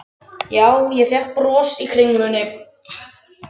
Já ég fékk brons í kringlunni.